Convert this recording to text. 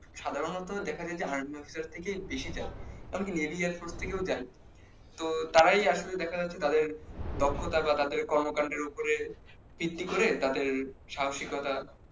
সাধারণত দেখা যায় যে army officer থেকেই বেশি যায় এমনি navy airforce থেকেও যায় তো তারাই আসলে দেখা যাচ্ছে তাদের দক্ষতা বা তাদের কর্মকান্ডের উপরে ভিত্তি করে তাদের সাহসীকতা